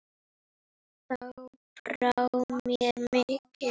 Þá brá mér mikið